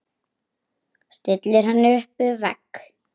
Stillir henni upp við vegg.